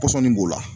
Pɔsɔnni b'o la